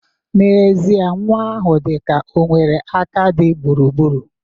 N'ezie nwa ahụ dịka o nwere aka di gburugburu.